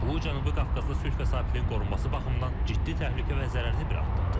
Bu Cənubi Qafqazda sülh və sabitliyin qorunması baxımından ciddi təhlükə və zərərli bir addımdır.